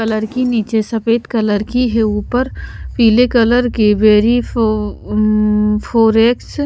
colour नीचे सफेद colour की है ऊपर पीले कलर के वेरी फो फॉरेक्स --